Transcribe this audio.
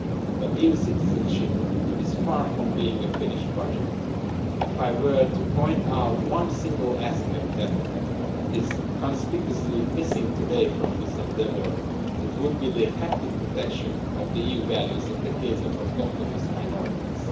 But EU citizenship is far from being a finished project. If I were to point out one single aspect that is conspicuously missing today from this endeavour, it would be the effective protection of EU values in the case of autochthonous minorities.